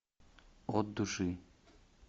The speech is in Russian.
от души